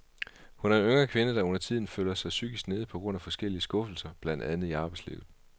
Hun er en yngre kvinde, der undertiden føler mig psykisk nede på grund af forskellige skuffelser, blandt andet i arbejdslivet.